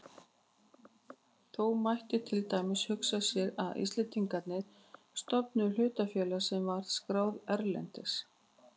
Þó mætti til dæmis hugsa sér að Íslendingar stofnuðu hlutafélag sem væri skráð erlendis.